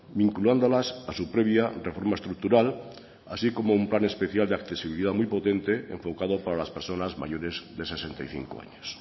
vinculándolas a su previa reforma estructural así como un plan especial de accesibilidad muy potente enfocado para las personas mayores de sesenta y cinco años